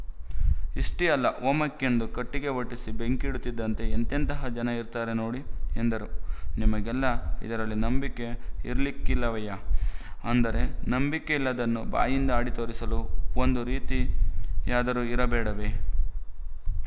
ಇಷೆ್ಟೀ ಅಲ್ಲ ಹೋಮಕ್ಕೆಂದು ಕಟ್ಟಿಗೆ ಒಟ್ಟಿಸಿ ಬೆಂಕಿ ಇಡುತ್ತಿದ್ದಂತೆ ಎಂತೆಂತಹ ಜನ ಇರ್ತಾರೆ ನೋಡಿ ಎಂದರು ನಿಮಗೆಲ್ಲ ಇದರಲ್ಲಿ ನಂಬಿಕೆ ಇರಲಿಕ್ಕಿಲ್ಲವಯ್ಯ ಆದರೆ ನಂಬಿಕೆ ಇಲ್ಲದ್ದನ್ನು ಬಾಯಿಂದ ಆಡಿತೋರಿಸಲೂ ಒಂದು ರೀತಿ ಯಾದರು ಇರ ಬೇಡವೇ